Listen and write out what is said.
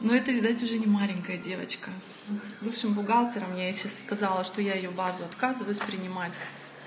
ну это видать уже не маленькая девочка бывшим бухгалтером если сказала что я её базу отказываюсь принимать